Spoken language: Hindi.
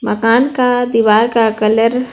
मकान का दीवार का कलर ---